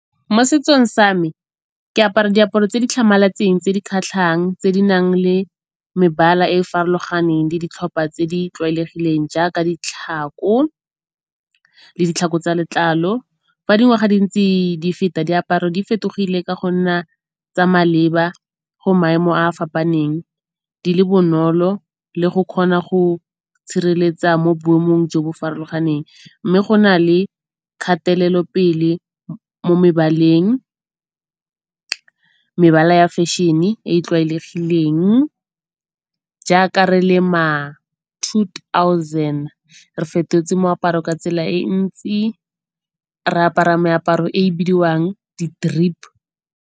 Mo setsong sa me ke apara diaparo tse di tlhamaletseng, tse di kgatlhang, tse di nang le mebala e e farologaneng le ditlhopha tse di tlwaelegileng jaaka ditlhako le ditlhako tsa letlalo. Fa dingwaga di ntse di feta diaparo di fetogile ka go nna tsa maleba. Go maemo a fapaneng di le bonolo le go kgona go tshireletsa mo boemong jo bo farologaneng, mme go na le kgatelelopele mo mebaleng. Mebala ya fashion-e e e tlwaelegileng jaaka re le ma two thousand re fetotse moaparo ka tsela e ntsi, re apara meaparo e e bidiwang di-drip.